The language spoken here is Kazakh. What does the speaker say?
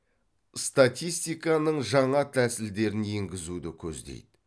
статистиканың жаңа тәсілдерін енгізуді көздейді